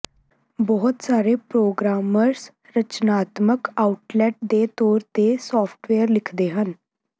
ਬਹੁਤ ਸਾਰੇ ਪ੍ਰੋਗਰਾਮਰਸ ਰਚਨਾਤਮਕ ਆਉਟਲੈਟ ਦੇ ਤੌਰ ਤੇ ਸਾਫਟਵੇਅਰ ਲਿਖਦੇ ਹਨ